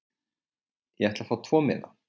Ég ætla að fá tvo miða.